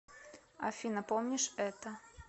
афина помнишь это